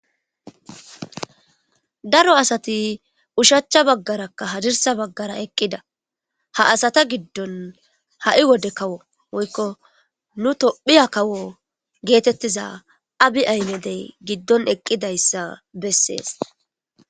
daro asati ushachcha baggarakka hadirsa baggara eqqida ha asata giddon ha7i wode kawo woykko nu tophiya kawo geetettiza abi aymedey giddon eqqidayssa bessees